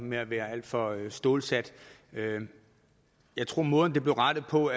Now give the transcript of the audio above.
med at være alt for stålsat men jeg tror at måden det blev rettet på